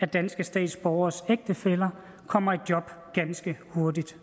danske statsborgeres ægtefæller kommer i job ganske hurtigt